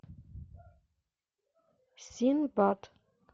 синбад